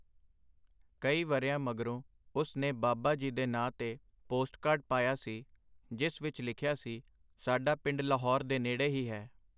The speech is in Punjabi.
ਕਈ ਵਰ੍ਹਿਆਂ ਮਗਰੋਂ ਉਸ ਨੇ ਬਾਬਾ ਜੀ ਦੇ ਨਾਂ ਤੇ ਪੋਸਟਕਾਰਡ ਪਾਇਆ ਸੀ ਜਿਸ ਵਿੱਚ ਲਿਖਿਆ ਸੀ ਸਾਡਾ ਪਿੰਡ ਲਾਹੌਰ ਦੇ ਨੇੜੇ ਹੀ ਹੈ.